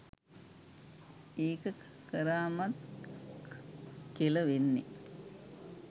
ඒක කරාමත් කෙළ වෙන්නේ